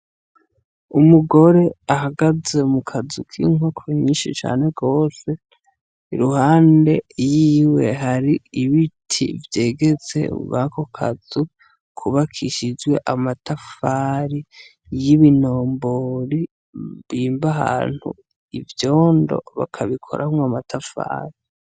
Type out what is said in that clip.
Umugore ahagaze mu kazu k'inkoko nyinshi cane gose, iruhande yiwe hari ibiti vyegetse mwako kazu kubakishijwe amatafari y'ibinombori bimba ahantu ivyondo, bakabikoramwo amatafari.